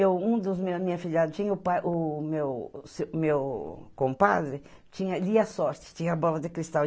E um dos meus meus filhados, o pai o meu o meu tinha compadre, lia sorte, tinha a bola de cristal.